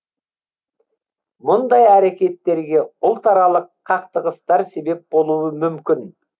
мұндай әрекеттерге ұлтаралық қақтығыстар себеп болуы мүмкін